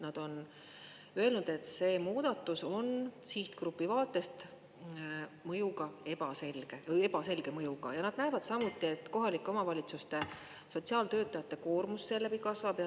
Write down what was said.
Nad on öelnud, et see muudatus on sihtgrupi vaatest ebaselge mõjuga, ja nad näevad samuti, et kohalike omavalitsuste sotsiaaltöötajate koormus seeläbi kasvab.